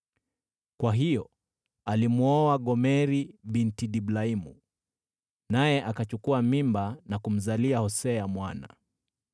Kwa hiyo alimwoa Gomeri binti Diblaimu, naye akachukua mimba na kumzalia Hosea mwana.